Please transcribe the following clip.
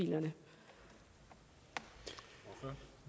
jo men